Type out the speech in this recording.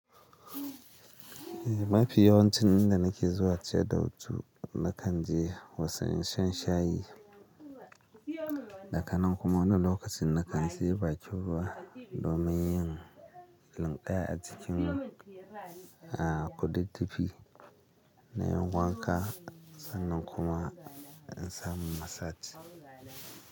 Eh, mafi yawancin inda nake zuwa ciyadda hutu na kan je wasen shan shayi, daga nan kuma wani lokacin na kan je bakin ruwa domin yin linƙaya a cikin kudidifi na yin wanka sannan kuma in samu massage.